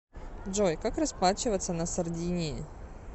джой как расплачиваться на сардинии